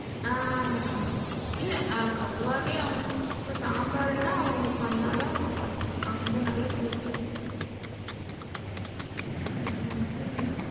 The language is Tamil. ஆ ங், இல்ல பொதுவாவே அவங்க இப்ப சாம்பாருன்னா அவங்க பண்ணாதான் நல்லா இருக்கும் அந்த நல்ல taste ஆ இருக்கும். அந்த மாதிரி,